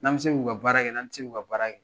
Nan bɛ se ku ka baarakɛ, nan tɛ se ku ka baarak